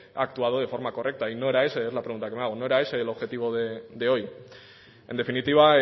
ha actuado de forma correcta y no era ese es la pregunta que me hago no era ese el objetivo de hoy en definitiva